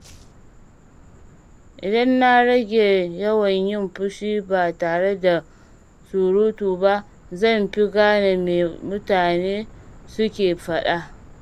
Idan na rage yawan yin shiru ba tare da surutu ba, zan fi gane me mutane suke faɗa.